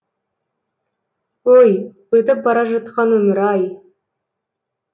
ой өтіп бара жатқан өмір ай